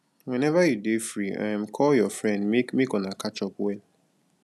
whenever you dey free um call your friend make make una catch up well